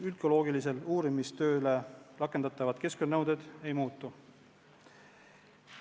Üldgeoloogilise uurimistöö suhtes rakendatavad keskkonnanõuded ei muutu.